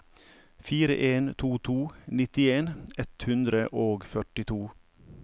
fire en to to nittien ett hundre og førtito